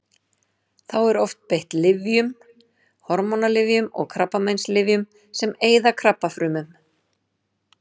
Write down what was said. Þá er oft beitt lyfjum: hormónalyfjum og krabbameinslyfjum sem eyða krabbafrumum.